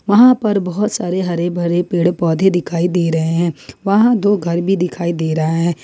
वहां पर बहुत सारे हरे भरे पेड़ पौधे दिखाई दे रहे हैं वहां दो घर भी दिखाई दे रहा है।